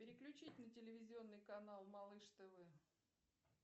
переключить на телевизионный канал малыш тв